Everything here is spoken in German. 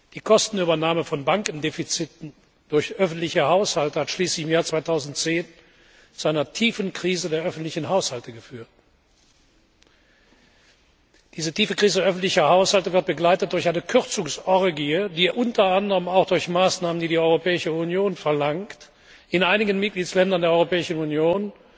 Die Kostenübernahme von Bankendefiziten durch öffentliche Haushalte hat schließlich im Jahr 2010 zu einer tiefen Krise der öffentlichen Haushalte geführt. Diese tiefe Krise öffentlicher Haushalte wird begleitet durch eine Kürzungsorgie, die unter anderem auch durch Maßnahmen, die die Europäische Union verlangt, in einigen Mitgliedstaaten der Europäischen Union